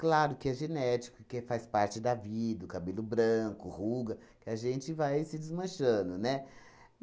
Claro que é genético, que faz parte da vida, o cabelo branco, ruga, que a gente vai se desmanchando, né?